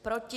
Proti?